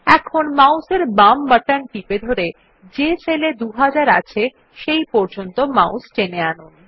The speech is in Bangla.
এখন মাউস এর বাম বাটন টিপে ধরে যে সেল এ ২০০০ আছে সেই পর্যন্ত মাউস টেনে আনুন